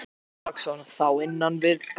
Björn Þorláksson: Þá innan barnaverndarnefnda?